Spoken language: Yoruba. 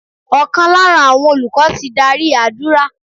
Ọ̀kan lára àwọn olùkọ́ ti dárí àdúrà.